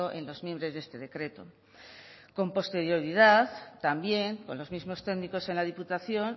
en los mimbres de este decreto con posterioridad también con los mismos técnicos en la diputación